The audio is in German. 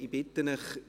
Ich bitte Sie: